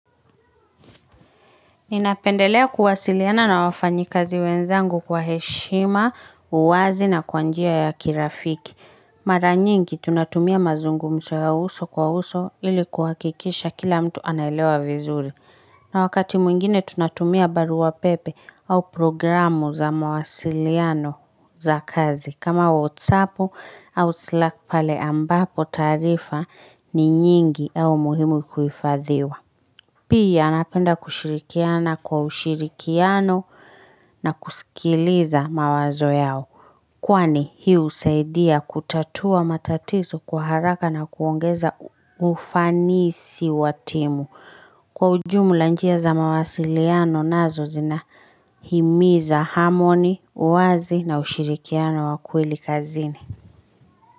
Ninapendelea kuwasiliana na wafanyikazi wenzangu kwa heshima, uwazi na kwa njia ya kirafiki. Mara nyingi tunatumia mazungumzo ya uso kwa uso ili kuhakikisha kila mtu anaelewa vizuri. Na wakati mwingine tunatumia barua pepe au programu za mawasiliano za kazi. Kama wotsapo au slack pale ambapo taarifa ni nyingi au muhimu kuhifadhiwa. Pia napenda kushirikiana kwa ushirikiano na kusikiliza mawazo yao Kwani hii husaidia kutatua matatizo kwa haraka na kuongeza ufanisi wa timu Kwa ujumla njia za mawasiliano nazo zina himiza harmony, uwazi na ushirikiano wa kweli kazini.